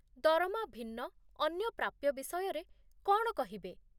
ଦରମା ଭିନ୍ନ ଅନ୍ୟ ପ୍ରାପ୍ୟ ବିଷୟରେ କ'ଣ କହିବେ?